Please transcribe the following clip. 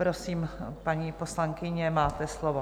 Prosím, paní poslankyně, máte slovo.